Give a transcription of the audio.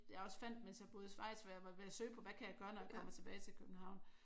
Jeg også fandt mens jeg boede i Schweiz for jeg var ved at søge på hvad kan jeg gøre når jeg kommer tilbage til København